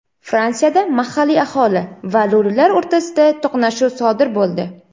Fransiyada mahalliy aholi va lo‘lilar o‘rtasida to‘qnashuv sodir bo‘ldi.